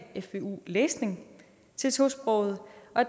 fvu læsning til tosprogede